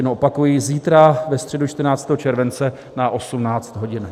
Jen opakuji, zítra ve středu 14. července na 18 hodin.